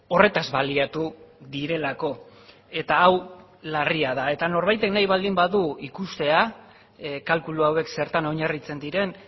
horretaz baliatu direlako eta hau larria da eta norbaitek nahi baldin badu ikustea kalkulu hauek zertan oinarritzen diren